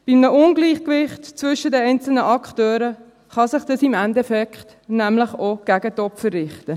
Bei einem Ungleichgewicht zwischen den einzelnen Akteuren kann sich dies im Endeffekt nämlich auch gegen die Opfer richten.